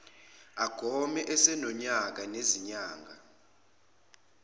agome esenonyaka nezinyanga